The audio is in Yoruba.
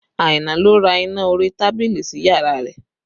Aina ló ra iná orí tábìlì sí yàrá rẹ̀